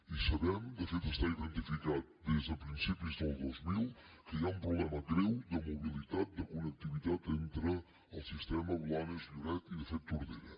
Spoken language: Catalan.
i sabem de fet està identificat des de principis del dos mil que hi ha un problema greu de mobilitat de connectivitat entre el sistema blanes lloret i de fet tordera